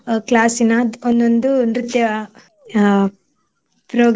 Class ನ ಒಂದೊಂದು ನೃತ್ಯ ಅಹ್ program